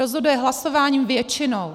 Rozhoduje hlasováním většinou.